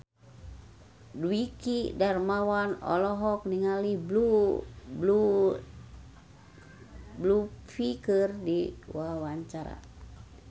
Dwiki Darmawan olohok ningali Blue Ivy keur diwawancara